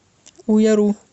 уяру